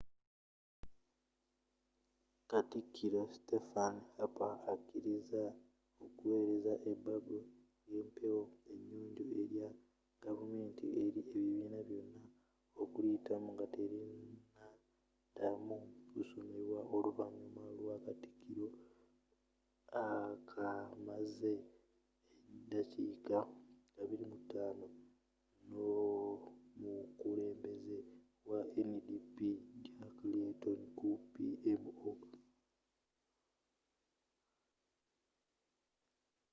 katikiro stephen harper akkiriza okuwereza ebbago ly'empewo enyonjo' erya gavumenti eri ebibiina byonna okuliyitamu nga terinaddamu kusomwa oluvanyuma lw'akakiiko akamaze eddakiika 25 n'omukulembeze wa ndp jack layton ku pmo